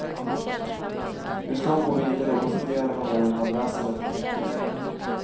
Nu skall hon gå vidare och då funderar hon över madrasser eller täcken.